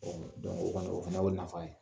Ɔ o kɔni , o fana ye o nafa ye.